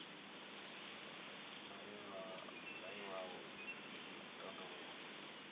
na iwalo ii i tandulula